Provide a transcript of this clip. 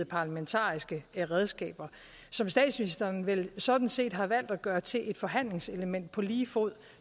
parlamentariske redskaber som statsministeren vel sådan set har valgt at gøre til et forhandlingselement på lige fod